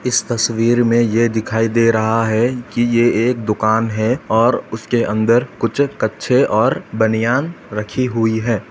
इस तस्वीर में ये दिखाई दे रहा है कि ये एक दुकान है और उसके अंदर कुछ कच्छे और बनियान रखी हुई है।